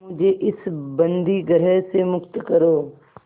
मुझे इस बंदीगृह से मुक्त करो